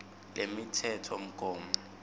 lemitsetfomgomo